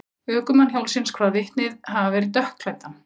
Ökumann hjólsins kvað vitnið hafa verið dökkklæddan.